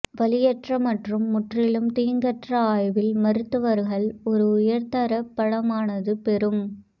வலியற்ற மற்றும் முற்றிலும் தீங்கற்ற ஆய்வில் மருத்துவர்கள் ஒரு உயர் தரப் படமானது பெறும்